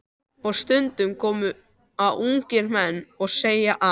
Og stundum koma ungir menn og segja að